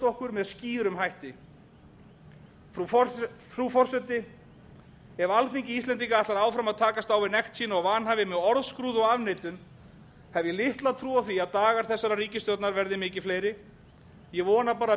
okkur með skýrum hætti frú forseti ef alþingi íslendinga ætlar áfram að takast á við nekt sína og vanhæfi með orðskrúði og afneitun hef ég litla trú á því að dagar þessarar ríkisstjórnar verði mikið fleiri ég vona bara að